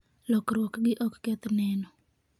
lokruok gi ok keth neno